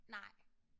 Nej